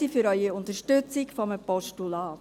Danke für Ihre Unterstützung eines Postulats.